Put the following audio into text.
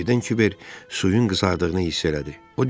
Birdən Kiber suyun qızardığını hiss elədi.